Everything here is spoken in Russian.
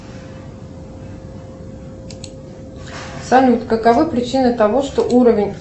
салют каковы причины того что уровень